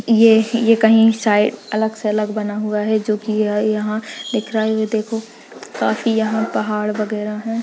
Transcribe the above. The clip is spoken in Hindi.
ये ये कहीं साइड अलग से अलग बना हुआ है जो की यह यहाँ दिख रहा है वो देखो काफी यहाँ पहाड़ वगेहरा हैं।